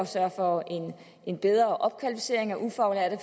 sørge for en bedre opkvalificering af ufaglærte